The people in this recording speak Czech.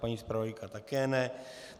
Paní zpravodajka také ne.